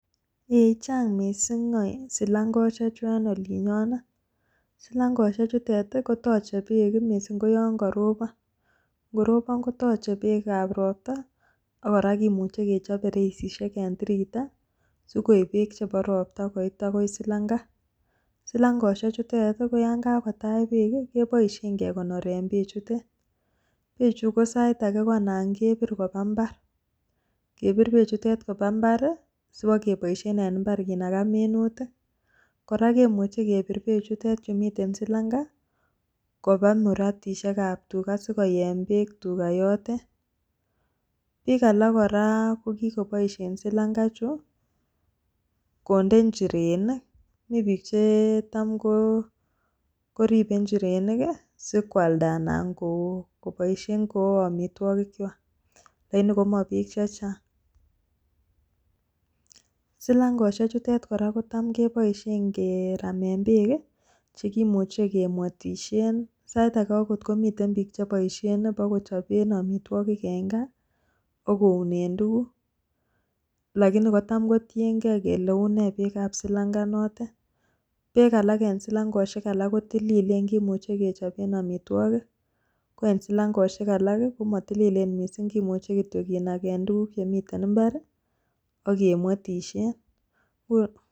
Ei, chang missing silangosiechu en olinyoon. Silangosiechuton koteche beek missing koyon korobon, ingorobon kotoche beek ab roptaa ak kora kimuche kechob beresisiek en tiritaa sikoib beek chebo ropta koit AKO silangaa. Silangosiechutet koyon kakotach beek i,keboishien kekonoreen beechutet. Beek ko sausage ko anan kebir kobaa imbaar, sibokeboishien en imbaar kinagaa minutik. Kora kimuche kebiir bechutet en silangaa kobaa muratisiek ab tugaa sikoyeen beek tugaa yotet. Bikalak kora komuch koboishien silangosiek kobaen injirenik, mii bik cheboe injirenik koaldaa anan koboishien ko amitwogiikchwak, lakini komo biik chechang. Silangosiek kotaam keboishien keraamen beek chekimuche kemwetishien, Sait age keboishien en gaa mokounen tuguuk, lakini kotam kotiengei kole une beekab silangaa notok, beek alak en silangosiek kotilileen ak kimuche kechoben amitwogiik koen silangosiek alak komotilileen kimuche kityok keboishien kiunen tuguuk ak imbaroonok, ak kemwetishien